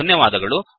ಧನ್ಯವಾದಗಳು